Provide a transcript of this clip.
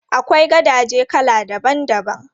Akwai gadaje kala daban daban.